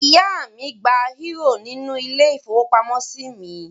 Ìyá mi gba eúrò nínú ilé-ìfowópamọ́sí mi.